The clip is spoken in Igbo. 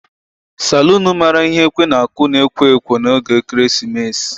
Salun maara ihe ekwe na-aku na ekwo ekwo n'oge ekeresimesi.